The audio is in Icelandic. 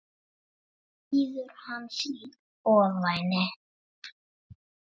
Ég hóta honum engu.